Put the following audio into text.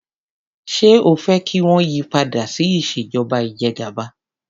Ṣé o fẹ́ kí wọ́n yí padà sí ìṣèjọba ìjẹgàba?